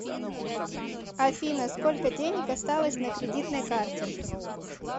афина сколько денег осталось на кредитной карте